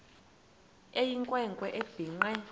eyinkwe nkwe ebhinqe